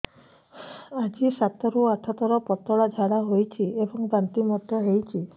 ଆଜି ସାତରୁ ଆଠ ଥର ପତଳା ଝାଡ଼ା ହୋଇଛି ଏବଂ ବାନ୍ତି ମଧ୍ୟ ହେଇଛି